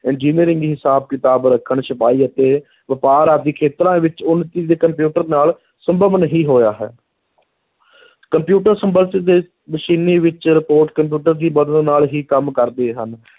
Engineering ਹਿਸਾਬ-ਕਿਤਾਬ ਰੱਖਣ, ਛਪਾਈ ਅਤੇ ਵਪਾਰ ਆਦਿ ਖੇਤਰਾਂ ਵਿੱਚ ਉੱਨਤੀ ਦੇ ਕੰਪਿਊਟਰ ਨਾਲ ਸੰਭਵ ਨਹੀਂ ਹੋਇਆ ਹੈ ਕੰਪਿਊਟਰ ਦੇ ਮਸ਼ੀਨੀ ਵਿੱਚ report ਕੰਪਿਊਟਰ ਦੀ ਮਦਦ ਨਾਲ ਹੀ ਕੰਮ ਕਰਦੇ ਹਨ